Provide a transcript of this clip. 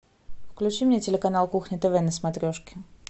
включи мне телеканал кухня тв на смотрешке